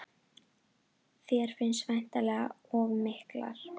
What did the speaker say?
Þér finnst væntingarnar of miklar?